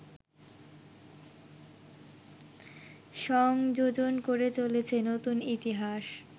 সংযোজন করে চলেছেন নতুন ইতিহাস